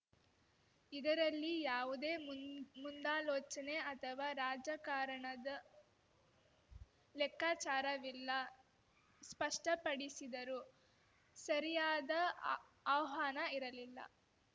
ಇದರಲ್ಲಿ ಯಾವುದೇ ಮುಂದ್ ಮುಂದಾಲೋಚನೆ ಅಥವಾ ರಾಜಕಾರಣದ ಲೆಕ್ಕಾಚಾರವಿಲ್ಲ ಸ್ಪಷ್ಟಪಡಿಸಿದರು ಸರಿಯಾದ ಆ ಆಹ್ವಾನ ಇರಲಿಲ್ಲ